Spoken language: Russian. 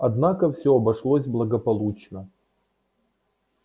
однако всё обошлось благополучно